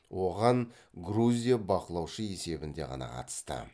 оған грузия бақылаушы есебінде ғана қатысты